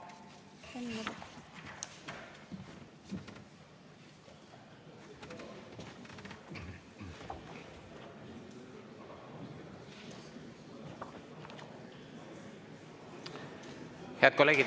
Head kolleegid!